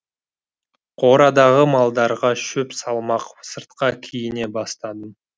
қорадағы малдарға шөп салмақ сыртқа киіне бастадым